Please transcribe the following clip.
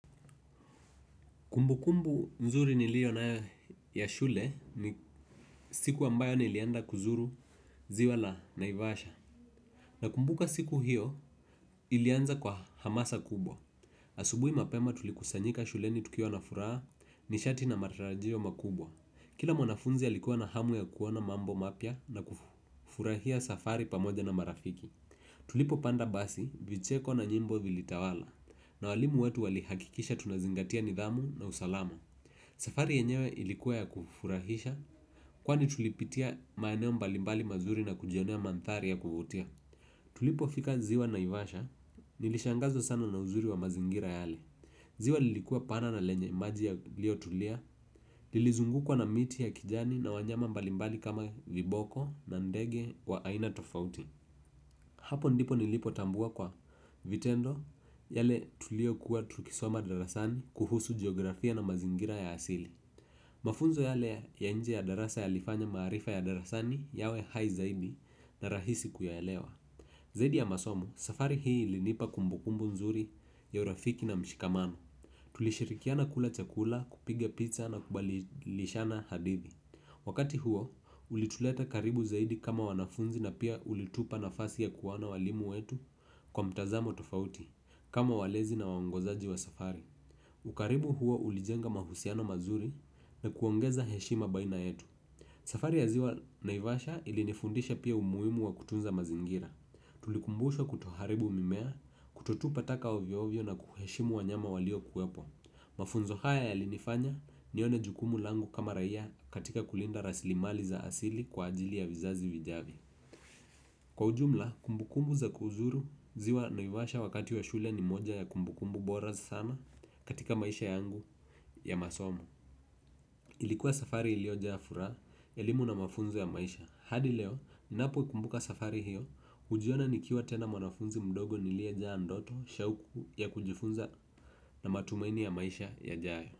Kumbukumbu nzuri niliyo nayo ya shule ni siku ambayo nilienda kuzuru ziwa la naivasha. Nakumbuka siku hiyo ilianza kwa hamasa kubwa. Asubuhi mapema tulikusanyika shuleni tukiwa na furaha nishati na matarajio makubwa. Kila mwanafunzi alikuwa na hamu ya kuona mambo mapya na kufurahia safari pamoja na marafiki. Tulipopanda basi vicheko na nyimbo vilitawala. Na walimu wetu walihakikisha tunazingatia nidhamu na usalama. Safari yenyewe ilikuwa ya kufurahisha kwani tulipitia maeneo mbalimbali mazuri na kujionea mandhari ya kuvutia. Tulipofika ziwa naivasha nilishangazwa sana na uzuri wa mazingira yale. Ziwa lilikuwa pana na lenye maji yaliyotulia. Lilizungukwa na miti ya kijani na wanyama mbalimbali kama viboko na ndege wa aina tofauti. Hapo ndipo nilipotambua kwa vitendo yale tuliyokuwa tukisoma darasani kuhusu jiografia na mazingira ya asili. Mafunzo yale ya nje ya darasa yalifanya maarifa ya darasani yawe hai zaidi na rahisi kuyaelewa. Zaidi ya masomo, safari hii ilinipa kumbukumbu nzuri ya urafiki na mshikamano. Tulishirikiana kula chakula, kupiga picha na kubadilishana hadithi. Wakati huo ulituleta karibu zaidi kama wanafunzi na pia ulitupa nafasi ya kuwaona walimu wetu kwa mtazamo tofauti kama walezi na waongozaji wa safari. Ukaribu huo ulijenga mahusiano mazuri na kuongeza heshima baina yetu. Safari ya ziwa naivasha ilinifundisha pia umuhimu wa kutunza mazingira. Tulikumbushwa kutoharibu mimea kutotupa taka ovyovyo na kuheshimu wanyama waliokuwepo. Mafunzo haya yalinifanya nione jukumu langu kama raia katika kulinda rasilimali za asili kwa ajili ya vizazi vijavyo. Kwa ujumla kumbukumbu za kuzuru ziwa naivasha wakati wa shule ni moja ya kumbukumbu bora sana katika maisha yangu ya masomo ilikuwa safari iliyojaa furaha elimu na mafunzo ya maisha hadi leo ninapokumbuka safari hiyo hujiona nikiwa tena mwanafunzi mdogo niliyejaa ndoto shauku ya kujifunza na matumaini ya maisha yajayo.